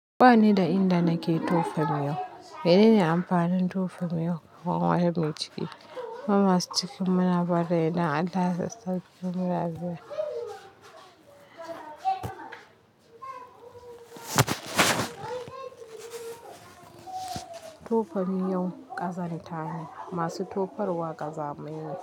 Ba ni da inda nake tofa miyau. Menene amfanin tofa miyau ko waye mai ciki? Mu masu cikin muna bari idan Allah sauke mu da Lafiya. Tofa miyau ƙazan tane masu tofar wa ƙaza maine.